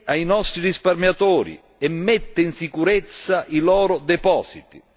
ai nostri risparmiatori e mette in sicurezza i loro depositi.